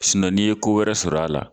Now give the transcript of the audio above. Sinɔn n'i ye ko wɛrɛ sɔrɔ a la